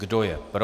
Kdo je pro?